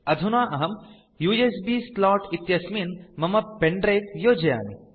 अधुना अहं USB slot इत्यस्मिन् मम pen द्रिवे योजयामि